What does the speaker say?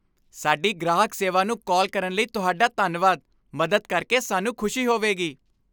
ਸਾਡੀ ਗ੍ਰਾਹਕ ਸੇਵਾ ਨੂੰ ਕਾਲ ਕਰਨ ਲਈ ਤੁਹਾਡਾ ਧੰਨਵਾਦ। ਮਦਦ ਕਰਕੇ ਸਾਨੂੰ ਖੁਸ਼ੀ ਹੋਵੇਗੀ ।